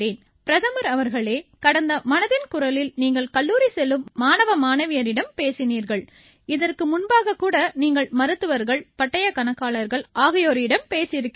பிரதமர் அவர்களே கடந்த மனதின் குரலில் நீங்கள் கல்லூரி செல்லும் மாணவ மாணவியரிடம் பேசினீர்கள் இதற்கு முன்பாகக் கூட நீங்கள் மருத்துவர்கள் பட்டயக் கணக்காளர்கள் ஆகியோரிடம் பேசியிருக்கிறீர்கள்